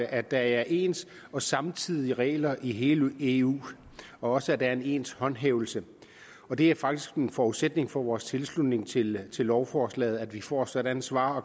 at der er ens og samtidigt fungerende regler i hele eu og også at der er en ens håndhævelse det er faktisk en forudsætning for vores tilslutning til til lovforslaget at vi får sådanne svar